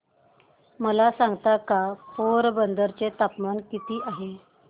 मला सांगता का पोरबंदर चे तापमान किती आहे